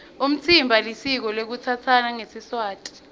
umtsimba lisiko lekutsatsana ngesiswati